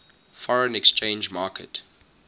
foreign exchange market